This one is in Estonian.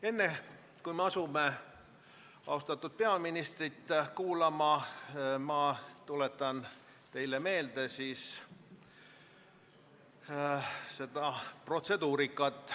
Enne, kui asume austatud peaministrit kuulama, tuletan teile meelde protseduuri.